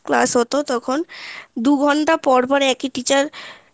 class হতো তখন দুঘন্টা পর পর একই teacher